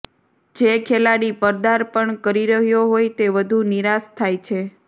જે ખેલાડી પર્દાપણ કરી રહ્યો હોય તે વધુ નિરાશ થાય છે